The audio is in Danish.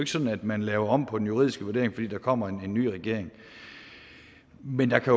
sådan at man laver om på den juridiske vurdering fordi der kommer en ny regering men der kan